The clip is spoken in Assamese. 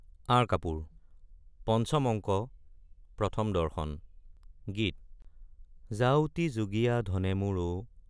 আঁৰ কাপোৰ পঞ্চম অঙ্ক প্ৰথম দৰ্শন গীত যাউতিযুগীয়া ধনে মোৰ অ।